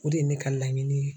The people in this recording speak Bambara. O de ye ne ka laɲini ye.